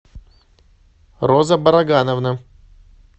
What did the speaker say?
роза барагановна